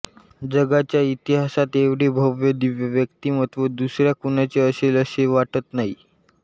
जगाच्या इतिहासात एवढे भव्य दिव्य व्यक्तिमत्त्व दुसऱ्या कुणाचे असेल असे वाटत नाही